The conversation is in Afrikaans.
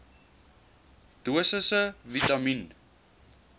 dosisse vitamien